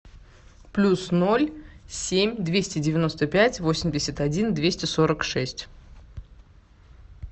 плюс ноль семь двести девяносто пять восемьдесят один двести сорок шесть